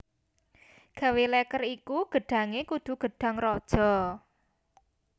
Gawe leker iku gedhange kudu gedhang raja